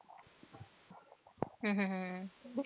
हम्म हम्म हम्म